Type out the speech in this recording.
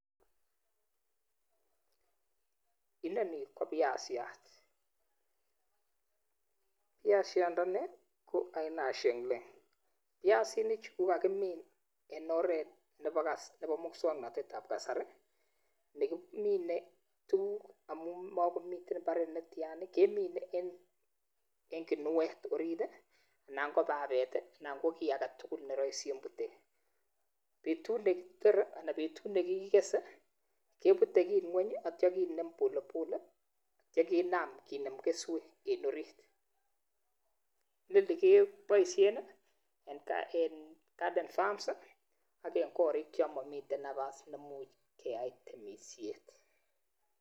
Inoni kobiasiat biashiat ndani koaina nekikuren sheng ling biasinik Chu kokakimin en oret abnebo muswaknatet Nebo kasari, nekimine tuguk amun makomii imbaret netian kemine en kinuet orit anan ko babet anan ko kit aketugul ne rahisi en butet betut nekitore anan betut nekikese, kebute ki ngwny akinem polepole akiKinam kenem keswek en orit Noni kebaishen en garden farms AK en korik chemamii nafas chemamii Nebo temisiet